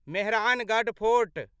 Mehrangarh fort